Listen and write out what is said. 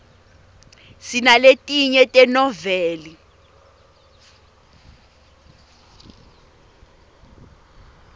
sinaletinye tenoveli